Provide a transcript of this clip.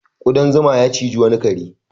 Ƙudan zuma ya ciji wani kare.